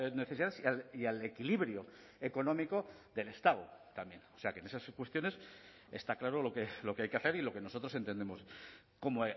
necesidades y al equilibrio económico del estado también o sea que en esas cuestiones está claro lo que hay que hacer y lo que nosotros entendemos como